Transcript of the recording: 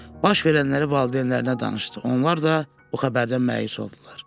Baş verənləri valideynlərinə danışdı, onlar da o xəbərdən mütəəssir oldular.